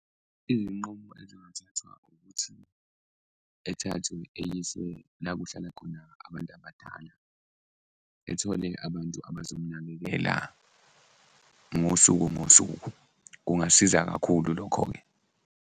Iy'nqumo ezingathathwa ukuthi ethathwe eyiswe la kuhlala khona abantu abadala, ethole abantu abazomnakekela ngosuku ngosuku, kungasiza kakhulu lokho-ke.